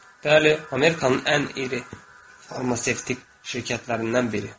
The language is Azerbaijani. Bəli, Amerikanın ən iri farmasevtik şirkətlərindən biri.